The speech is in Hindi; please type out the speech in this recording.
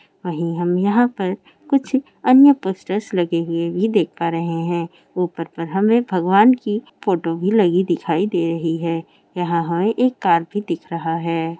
वही हम यहा पर कुछ अन्य पोस्टर लगे हुए भी देख पा रहे है ऊपर पर भी हमें भगवान की फोटो लगी दिखाई दे रही है यहाँ हमें एक कार भी दिख रहा है।